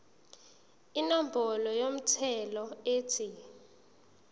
inombolo yomthelo ethi